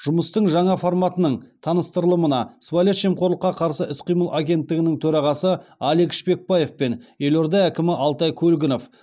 жұмыстың жаңа форматының таныстырылымына сыбайлас жемқорлыққа қарсы іс қимыл агенттігінің төрағасы алик шпекбаев пен елорда әкімі алтай көлгінов